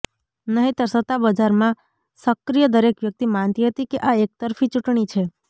નહીંતર સત્તાબજારમાં સક્રિય દરેક વ્યક્તિ માનતી હતી કે આ એકતરફી ચૂંટણી છે